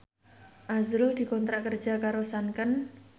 azrul dikontrak kerja karo Sanken